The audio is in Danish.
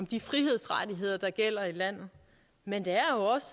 de frihedsrettigheder der gælder i landet men det er også